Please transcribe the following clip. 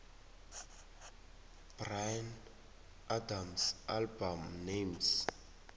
bryan adams album names